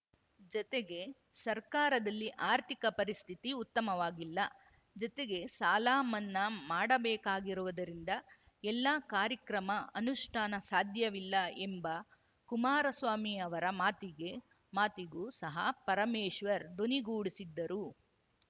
ಜತೆಗೆ ಸರ್ಕಾರದಲ್ಲಿ ಆರ್ಥಿಕ ಪರಿಸ್ಥಿತಿ ಉತ್ತಮವಾಗಿಲ್ಲ ಜತೆಗೆ ಸಾಲ ಮನ್ನಾ ಮಾಡಬೇಕಾಗಿರುವುದರಿಂದ ಎಲ್ಲಾ ಕಾರ್ಯಕ್ರಮ ಅನುಷ್ಠಾನ ಸಾಧ್ಯವಿಲ್ಲ ಎಂಬ ಕುಮಾರಸ್ವಾಮಿ ಅವರ ಮಾತಿಗೆ ಮಾತಿಗೂ ಸಹ ಪರಮೇಶ್ವರ್‌ ದನಿಗೂಡಿಸಿದ್ದರು